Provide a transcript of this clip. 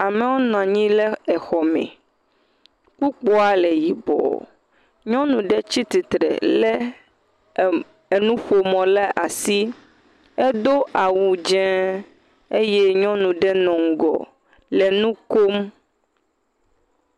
Amewo nɔnyi le exɔ me, kpukpoa le yibɔ, nyɔnu ɖe tsi titre lé enuƒomɔ le asi, edo awu dzeŋ eye nyɔnu ɖe nɔ ŋgɔ le nu kom.